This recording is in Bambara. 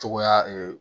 Cogoya